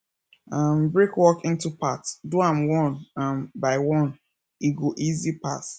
um break work into parts do am one um by one e go easy pass